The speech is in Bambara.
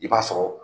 I b'a sɔrɔ